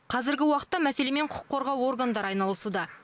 қазіргі уақытта мәселемен құқық қорғау органдары айналысуда